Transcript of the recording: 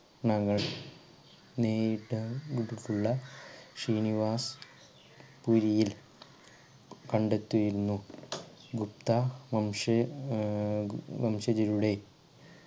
മകൾ നേത ശ്രീനിവാ പുരിയിൽ കണ്ടെത്തിയിരുന്നു ഗുപ്ത വംശ ആഹ് വംശജരുടെ